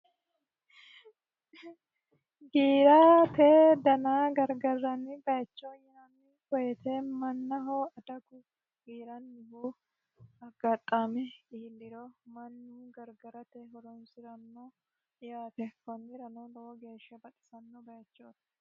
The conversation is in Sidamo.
giirate dano gargarranni bayichoo yinanni woyite mannahoo adagu giirannihu aggaxaame iilliro mannu gargarate horonsi'ranno yaate konnirano lowo geeshsha baxisanno bayechooti